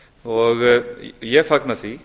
fjallaði um ég fagna því